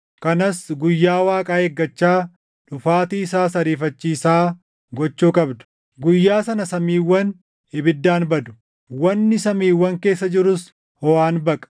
kanas guyyaa Waaqaa eeggachaa, dhufaatii isaas ariifachiisaa gochuu qabdu. Guyyaa sana samiiwwan ibiddaan badu; wanni samiiwwan keessa jirus hoʼaan baqa.